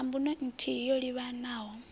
na mbuno nthihi yo livhanaho